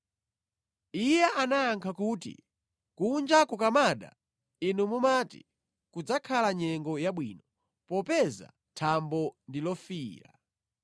Iye anayankha kuti, “Kunja kukamada, inu mumati, kudzakhala nyengo yabwino popeza thambo ndi lofiira.